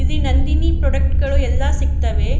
ಇಲ್ಲಿ ನಂದಿನಿ ಪ್ರಾಡಕ್ಟ್ ಗಳು ಎಲ್ಲ ಸಿಗ್ತವೆ.